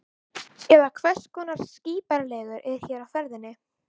Eða hvers konar skrípaleikur er hér á ferðinni?